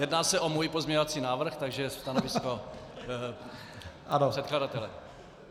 Jedná se o můj pozměňovací návrh, takže stanovisko předkladatele.